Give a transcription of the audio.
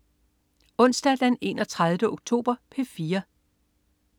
Onsdag den 31. oktober - P4: